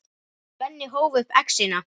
Svenni hóf upp exina.